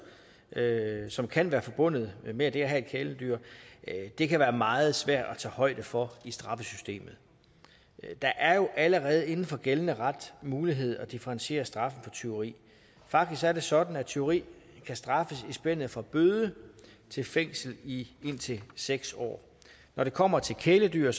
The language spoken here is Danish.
som kan være forbundet med det at have kæledyr det kan være meget svært at tage højde for i straffesystemet der er jo allerede inden for gældende ret mulighed for at differentiere straffen for tyveri faktisk er det sådan at tyveri kan straffes i spændet fra bøde til fængsel i indtil seks år når det kommer til kæledyr